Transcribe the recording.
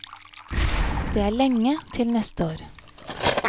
Det er lenge til neste år.